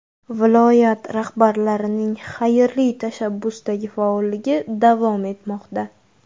Viloyat rahbarlarining xayrli tashabbusdagi faolligi davom etmoqda.